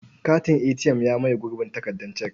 Katin ATM ya maye gurbin takardar cek.